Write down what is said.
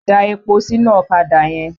Da epo sínú ọ̀kadà yẹn!